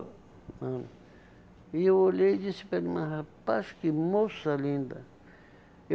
Hã e eu olhei e disse para ele, mas rapaz, que moça linda.